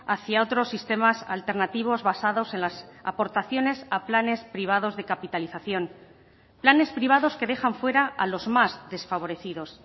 hacia otros sistemas alternativos basados en las aportaciones a planes privados de capitalización planes privados que dejan fuera a los más desfavorecidos